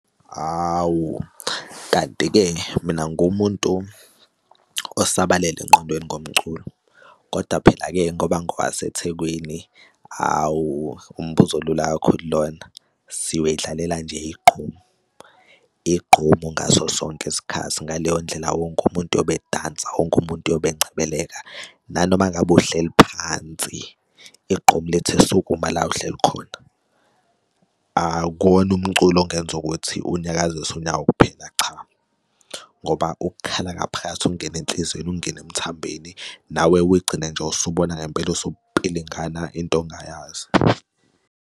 Hhawu, kanti-ke mina ngiwumuntu osabalele engqondweni ngomculo. Kodwa phela-ke ngoba ngowasethekwini, hhawu, umbuzo olula kakhulu lona siwudlalela nje igqomu, igqomu ngaso sonke isikhathi, ngaleyo ndlela wonke umuntu uyobe edansa wonke umuntu uyobe encebeleka nanoma ngabe uhleli phansi igqomu lithi sukuma la ohleli khona. Akuwona umculo ongenza ukuthi unyakazise unyawo kuphela, cha, ngoba ukhala ngaphakathi ungena enhliziyweni, ungena emthambeni nawe uy'gcine nje usuy'bona ngempela upilingana into ongayazi.